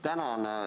Tänan!